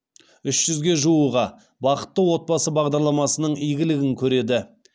үш жүзге жуығы бақытты отбасы бағдарламасының игілігін көреді